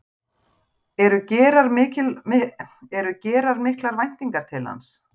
Eru gerar miklar væntingar til hans?